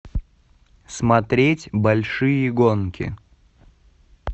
смотреть большие гонки